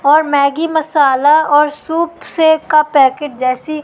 और मैगी मसाला और सूप से का पैकिट जैसी--